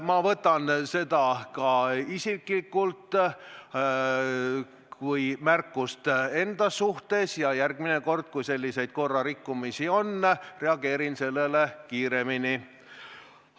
Ma võtan seda isiklikult ka kui märkust enda suhtes ja järgmine kord, kui selliseid korrarikkumisi on, reageerin kiiremini.